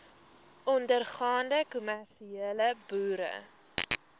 ondergaande kommersiële boere